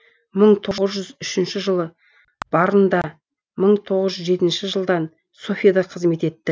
мың тоғыз жүз үшінші жылы варнда мың тоғыз жүз жетінші жылдан софияда қызмет етті